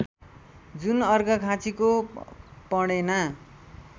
जुन अर्घाखाँचीको पणेना